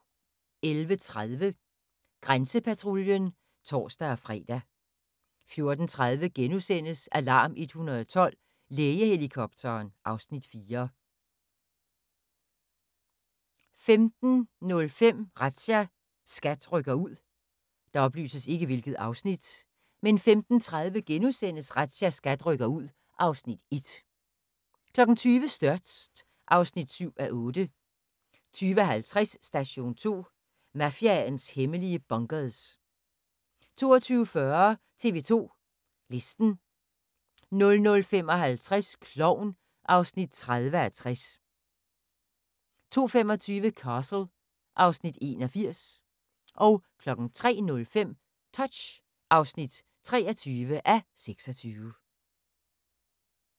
11:30: Grænsepatruljen (tor-fre) 14:30: Alarm 112 – Lægehelikopteren (Afs. 4)* 15:05: Razzia – SKAT rykker ud 15:35: Razzia – SKAT rykker ud (Afs. 1)* 20:00: Størst (7:8) 20:50: Station 2: Mafiaens hemmelige bunkers 22:40: TV 2 Listen 00:55: Klovn (30:60) 02:25: Castle (Afs. 81) 03:05: Touch (23:26)